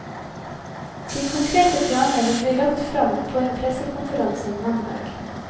De konkrete planene vil bli lagt fram på en pressekonferanse mandag.